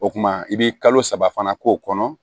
O kumana i bɛ kalo saba fana k'o kɔnɔ